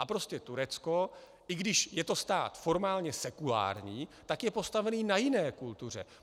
A prostě Turecko, i když je to stát formálně sekulární, tak je postavené na jiné kultuře.